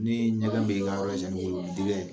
Ni ɲɛgɛn bɛ yen, nka yɔrɔ o bɛ